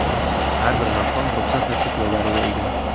Har bir maqom ruxsat va cheklovlariga ega.